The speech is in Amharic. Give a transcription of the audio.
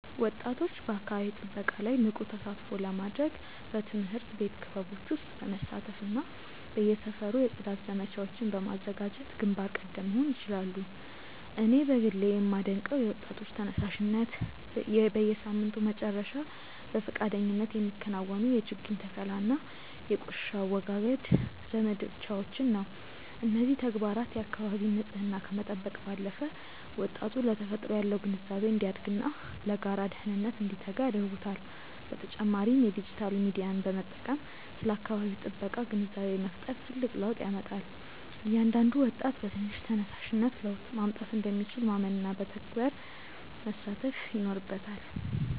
ወጣቶች በአካባቢ ጥበቃ ላይ ንቁ ተሳትፎ ለማድረግ በትምህርት ቤት ክበቦች ውስጥ በመሳተፍና በየሰፈሩ የጽዳት ዘመቻዎችን በማዘጋጀት ግንባር ቀደም መሆን ይችላሉ። እኔ በግሌ የማደንቀው የወጣቶች ተነሳሽነት፣ በየሳምንቱ መጨረሻ በፈቃደኝነት የሚከናወኑ የችግኝ ተከላና የቆሻሻ አወጋገድ ዘመቻዎችን ነው። እነዚህ ተግባራት የአካባቢን ንፅህና ከመጠበቅ ባለፈ፣ ወጣቱ ለተፈጥሮ ያለው ግንዛቤ እንዲያድግና ለጋራ ደህንነት እንዲተጋ ያደርጉታል። በተጨማሪም የዲጂታል ሚዲያን በመጠቀም ስለ አካባቢ ጥበቃ ግንዛቤ መፍጠር ትልቅ ለውጥ ያመጣል። እያንዳንዱ ወጣት በትንሽ ተነሳሽነት ለውጥ ማምጣት እንደሚችል ማመንና በተግባር መሳተፍ ይኖርበታል።